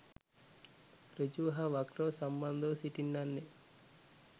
සෘජුව හා වක්‍රව සම්බන්ධව සිටින්නන් ය.